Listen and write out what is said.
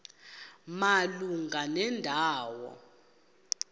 malunga nenda wo